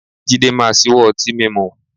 Jídé máa ṣíwọ́ ọtí mímú